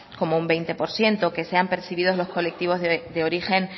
como un veinte por ciento que sean percibidos los colectivos de origen